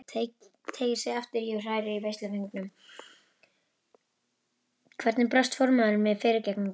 Teygir sig aftur í og hrærir í veisluföngunum.